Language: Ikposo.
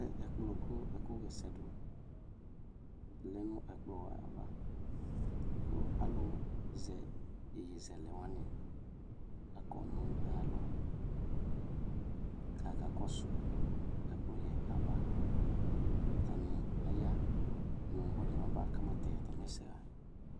Atɛ ɛkplɔ kʋ ɛkʋɣa ɛsɛ dʋ lɛ nʋ ɛkplɔ yɛ ava kʋ alʋzɛ iyeyezɛlɛ wanɩ akɔ nʋ ayalɔ kʋ akakɔsʋ ɛkplɔ yɛ ava Atanɩ aya nʋ ɔlʋ yɛ mabatɛ atamɩ ɛsɛɣa